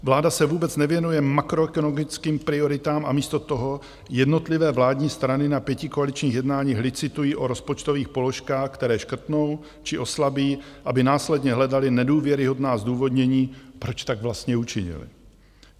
Vláda se vůbec nevěnuje makroekonomickým prioritám a místo toho jednotlivé vládní strany na pětikoaličních jednáních licitují o rozpočtových položkách, které škrtnou či oslabí, aby následně hledaly nedůvěryhodná zdůvodnění, proč tak vlastně učinily.